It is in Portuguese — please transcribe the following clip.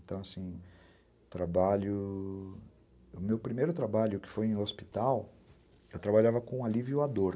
Então, assim, trabalho... O meu primeiro trabalho, que foi em hospital, eu trabalhava com alívio à dor.